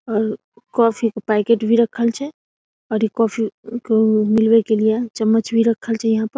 और इ कॉफी के पैकेट भी रखल छै और इ कॉफी के मिलवे लिए चम्मच भी रखल छै यहाँ पर |